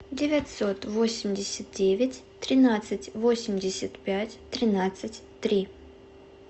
девятьсот восемьдесят девять тринадцать восемьдесят пять тринадцать три